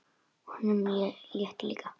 Honum létti líka.